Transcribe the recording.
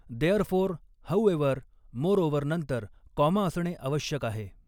Therefore however moreover नंतर comma असणे आवश्यक आहे.